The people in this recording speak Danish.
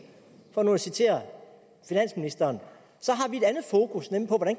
for nu at citere finansministeren